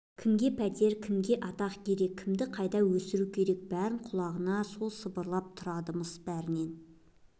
кімге пәтер кімге атақ керек кімді қайда өсіру керек бәрін құлағына сол сыбырлап тұрады-мыс бәрінен